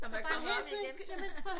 Som der er kommet op igen